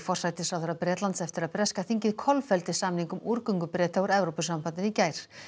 forsætisráðherra Bretlands eftir að breska þingið kolfelldi samning um úrgöngu Breta úr Evrópusambandinu í gær